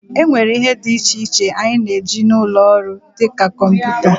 e nwere ihe dị iche iche anyị na-eji n'ụlọ ọrụ, dị ka kọmputa